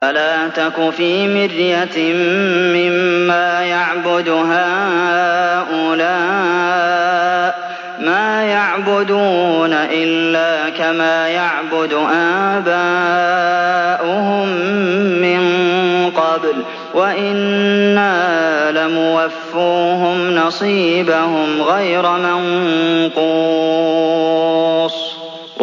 فَلَا تَكُ فِي مِرْيَةٍ مِّمَّا يَعْبُدُ هَٰؤُلَاءِ ۚ مَا يَعْبُدُونَ إِلَّا كَمَا يَعْبُدُ آبَاؤُهُم مِّن قَبْلُ ۚ وَإِنَّا لَمُوَفُّوهُمْ نَصِيبَهُمْ غَيْرَ مَنقُوصٍ